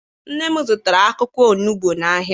Nne m zụtara akwụkwọ onugbu n'ahia.